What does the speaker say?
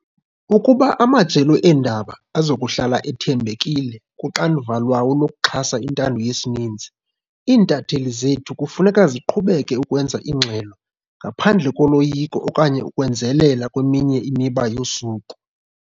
Ukuba amajelo eendaba azokuhlala ethembekile kuxanduva lwawo lokuxhasa intando yesininzi, iintatheli zethu kufuneka ziqhubeke ukwenza ingxelo ngaphandle koloyiko okanye ukwenzelela kweminye imiba yosuku.